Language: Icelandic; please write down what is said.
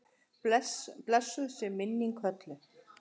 Blessuð sé minning Hollu.